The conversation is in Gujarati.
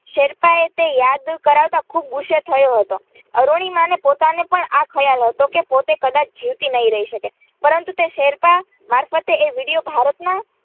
શેરપા તે યાદ કરાવતા તે ખુબ ગુસ્સે થયો હતો અરૂણિમાને પોતાને પણ ખ્યાલ હતો કે પોતે કદાચ જીવતી નહીં રહી શકે પરંતુ તે શેરપા મારફતે એ વિડ્યો ભારતના